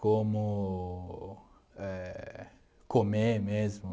como éh comer mesmo.